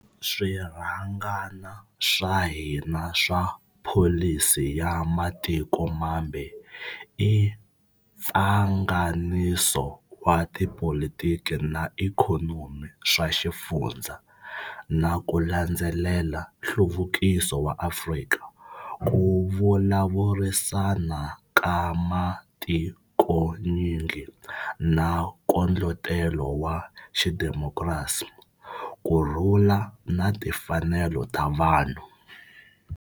Swirhangana swa hina swa pholisi ya matiko mambe i mpfanganiso wa tipolitiki na ikhonomi swa xifundza, na ku landzelela nhluvukiso wa Afrika, ku vulavurisana ka matikonyingi na nkondletelo wa xidemokirasi, ku rhula na timfanelo ta vanhu.